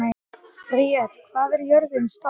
Briet, hvað er jörðin stór?